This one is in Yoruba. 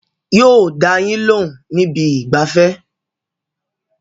Yóò dá a yín lóhùn níbi ìgbafẹ́